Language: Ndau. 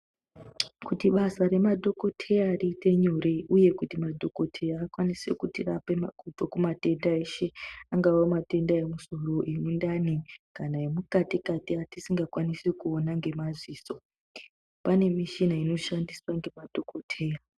Kuti basa remadhokoteya riite nyore, uye kuti madhokoteya akwanise kuti rapa kubva matenda eshe. Angava matenda emusoro, emundani kana emukati-kati atisingakwanisi kuona ngemaziso, pane michina inoshandiswa ngemadhokoteya.